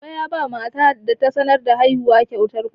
Baba yaba matar da ta sanar da haihuwan kyautar kuɗi.